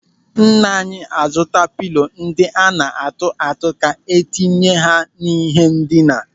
Nna anyị a zụta pịlo ndị a na-atụ atụ ka entinye ha n'ihe ndina.